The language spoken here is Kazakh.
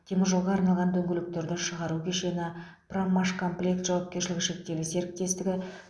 теміржолға арналған дөңгелектерді шығару кешені проммашкомплект жауапкершілігі шектеулі серіктестігі